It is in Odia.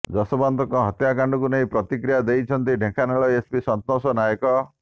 ଯଶୋବନ୍ତଙ୍କ ହତ୍ୟାକାଣ୍ଡକୁ ନେଇ ପ୍ରତିକ୍ରିୟା ଦେଇଛନ୍ତି ଢେଙ୍କାନାଳ ଏସପି ସନ୍ତୋଷ ନାୟକ